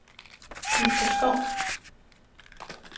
Nielstrup Skov